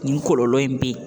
Nin kɔlɔlɔ in be yen